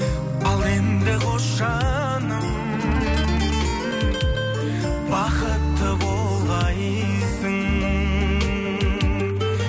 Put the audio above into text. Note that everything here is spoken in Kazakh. ал енді қош жаным бақытты болғайсың